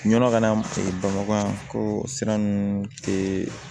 Yɔrɔ kana bamakɔ sira ninnu te